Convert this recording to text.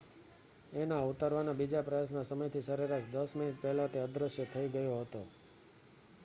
એના ઉતારવાના બીજા પ્રયાસના સમયથી સરેરાશ દસ મિનિટ પહેલાં તે અદૃશ્ય થઈ ગયો હતો